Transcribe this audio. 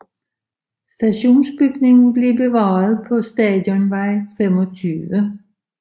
Stationsbygningen er bevaret på Stationsvej 25